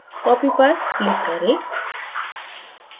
copy पर click करें